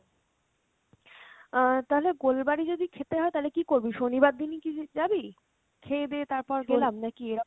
আহ তালে গোলবাড়ি যদি খেতে হয় তালে কী করবি? শনিবার দিনই কী যা~ যাবি? খেয়ে দেয়ে তারপর গেলাম নাকি এরম